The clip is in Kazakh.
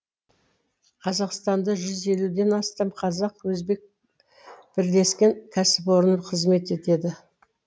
қазақстанда жүз елуден астам қазақ өзбек бірлескен кәсіпорны қызмет етеді